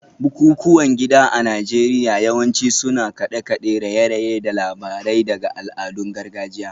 Bukukuwan gida a Najeriya yawanci suna da kade-kade, raye-raye, da labarai daga al'adun gargajiya